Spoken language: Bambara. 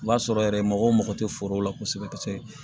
O b'a sɔrɔ yɛrɛ mɔgɔw mago tɛ foro la kosɛbɛ